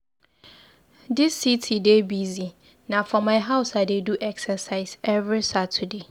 Dis city dey busy, na for my house I dey do exercise every Saturday.